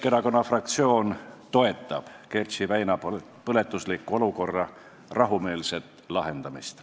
Keskerakonna fraktsioon toetab Kertši väina põletusliku olukorra rahumeelset lahendamist.